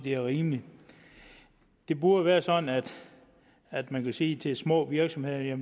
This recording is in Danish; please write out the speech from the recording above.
er rimeligt det burde være sådan at man kan sige til små virksomheder at